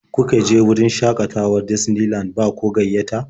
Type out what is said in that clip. Kuke je wurin shaƙatawar Disney Land ba ko gayyata?